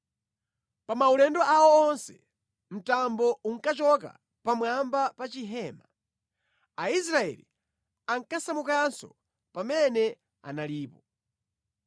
Pa maulendo awo onse, mtambo ukachoka pamwamba pa chihema, Aisraeli ankasamukanso pamene analipo.